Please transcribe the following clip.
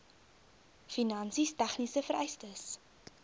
finansies tegniese vereistes